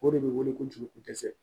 O de bɛ wele ko jeliko dɛsɛ